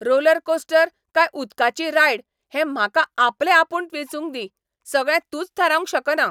Rollercoaster काय उदकाची ride हें म्हाका आपलेआपूण वेंचूंक दी, सगळें तूंच थारावंक शकना.